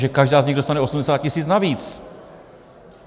Že každá z nich dostane 80 tisíc navíc.